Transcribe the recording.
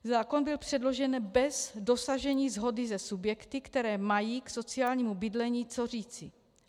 Zákon byl předložen bez dosažení shody se subjekty, které mají k sociálnímu bydlení co říci.